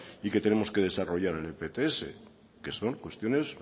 y que tenemos que desarrollar en el pts que son cuestiones